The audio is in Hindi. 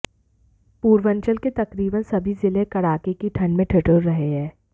पूर्वंचल के तकरीबन सभी जिले कड़ाकी की ठंड में ठिठुर रहे हैं